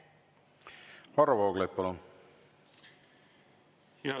Varro Vooglaid, palun!